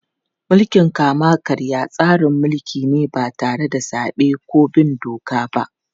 Mulkin kama-karya tsarin mulki ne ba tare da zabe ko bin doka ba.